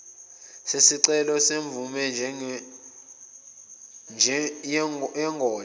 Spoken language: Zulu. sesicelo semvume yengodla